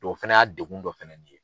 O fɛnɛ y'a degun dɔ fɛnɛ ye.